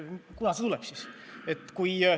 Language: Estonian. Kunas see tuleb siis?